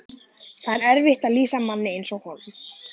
Það er erfitt að lýsa manni eins og honum.